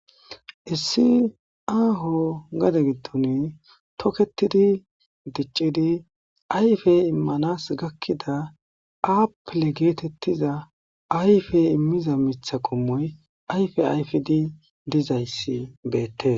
Issi aaho gade giddon toketidi diccidi ayfey immanas gakkida aapele geetettiza ayfey immiza mitha qommoy ayfe ayfidi dizayssi beette